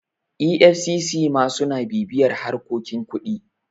efcc ma suna bibiyar harkokin kuɗi